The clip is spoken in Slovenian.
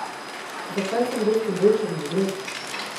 Zakaj sem dosti bolj črnogled?